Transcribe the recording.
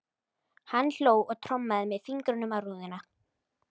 Hann hló og trommaði með fingrunum á rúðuna.